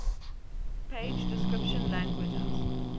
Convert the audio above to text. page description languages